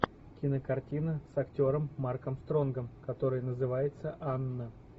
кинокартина с актером марком стронгом которая называется анна